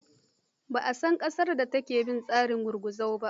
Ban san ƙasar da take bin tsarin gurguzu ba.